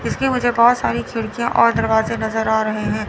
इसकी मुझे बहोत सारी खिड़कियां और दरवाजे नजर आ रहे हैं।